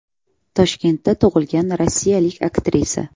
Toshkentda tug‘ilgan rossiyalik aktrisa.